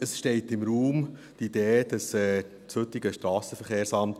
Die Idee steht im Raum, dass das heutige SVSA